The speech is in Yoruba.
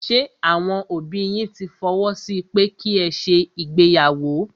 Ṣé àwọn òbí yín tí fọwọ́ sí pẹ́ ki ẹ ṣe ìgbéyàwó?